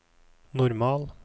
normal